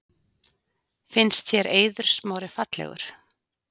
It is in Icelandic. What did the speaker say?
Finnst þér Eiður Smári fallegur?